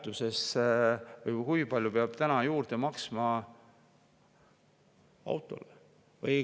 Kas keegi on vaadanud, kui palju peab juurde maksma autole?